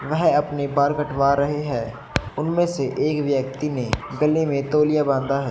वह अपने बाल कटवा रहे हैं उनमें से एक व्यक्ति ने गले में तोलिया बांधा है।